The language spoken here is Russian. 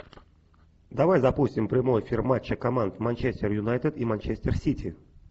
давай запустим прямой эфир матча команд манчестер юнайтед и манчестер сити